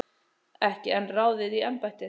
Ekki enn ráðið í embættið